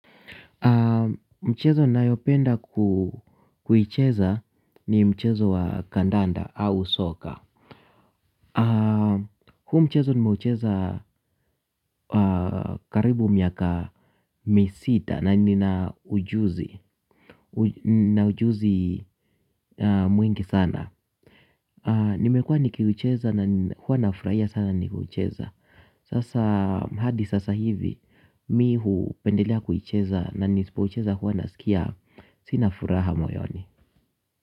Mchezo ninayopenda kuicheza ni mchezo wa kandanda au soka. Huu mchezo nimeucheza karibu miaka misita na nina ujuzi nina ujuzi mwingi sana. Nimekua nikiucheza na hua nafraia sana nikiucheza. Sasa hadi sasa hivi mi hupendelea kuicheza na nisipoicheza hua nasikia sina furaha moyoni.